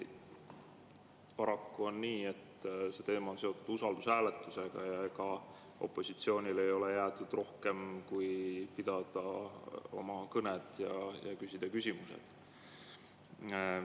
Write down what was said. Paraku on nii, et see teema on seotud usaldushääletusega ja opositsioonile ei ole jäetud rohkem kui pidada oma kõned ja küsida küsimused.